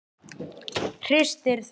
Hristir það.